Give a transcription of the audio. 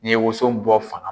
N'i ye woson bɔ fan